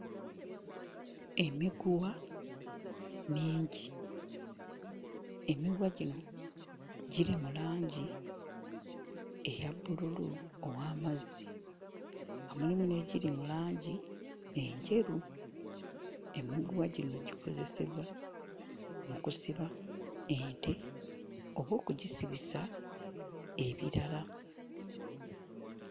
Emiguwa mingi, emiguwa gino giri mu langi eya bbululu ow'amazzi nga mulimu n'egiri mu langi enjeru, emiguwa gino gikozesebwa mu kusiba ente oba okugisibisa ebirala.